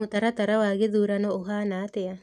Mũtaratara wa gĩthurano ũhaana atĩa?